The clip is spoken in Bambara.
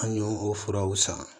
An y'o o furaw san